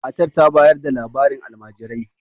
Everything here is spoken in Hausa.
matar ta bayar da labarin alamajirai